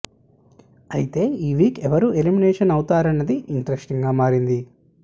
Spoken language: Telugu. అయితే ఈ వీక్ ఎవరు ఎలిమినేషన్ అవుతారన్నది ఇంట్రెస్టింగ్ గా మారింది